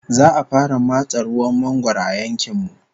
Za'a fara matse ruwan mangwaro a yankin mu